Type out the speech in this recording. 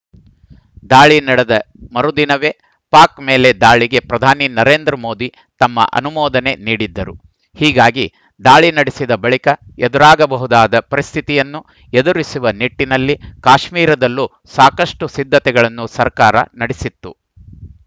ದಾಳಿ ನಡೆದ ಮರುದಿನವೇ ಪಾಕ್‌ ಮೇಲೆ ದಾಳಿಗೆ ಪ್ರಧಾನಿ ನರೇಂದ್ರ ಮೋದಿ ತಮ್ಮ ಅನುಮೋದನೆ ನೀಡಿದ್ದರು ಹೀಗಾಗಿ ದಾಳಿ ನಡೆಸಿದ ಬಳಿಕ ಎದುರಾಗಬಹುದಾದ ಪರಿಸ್ಥಿತಿಯನ್ನು ಎದುರಿಸುವ ನಿಟ್ಟಿನಲ್ಲಿ ಕಾಶ್ಮೀರದಲ್ಲೂ ಸಾಕಷ್ಟುಸಿದ್ಧತೆಗಳನ್ನು ಸರ್ಕಾರ ನಡೆಸಿತ್ತು